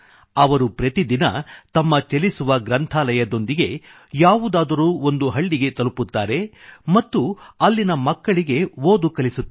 ಅವರು ಪ್ರತಿದಿನ ತಮ್ಮ ಚಲಿಸುವ ಗ್ರಂಥಾಲಯದೊಂದಿಗೆ ಯಾವುದಾದರೊಂದು ಹಳ್ಳಿಗೆ ತಲುಪುತ್ತಾರೆ ಮತ್ತು ಅಲ್ಲಿನ ಮಕ್ಕಳಿಗೆ ಓದು ಕಲಿಸುತ್ತಾರೆ